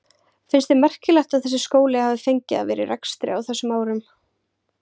Finnst þér merkilegt að þessi skóli hafi fengið að vera í rekstri á þessum árum?